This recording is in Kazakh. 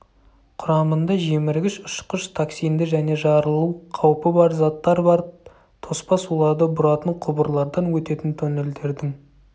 құрамында жеміргіш ұшқыш токсинді және жарылу қаупі бар заттар бар тоспа суларды бұратын құбырлардан өтетін тоннелдердің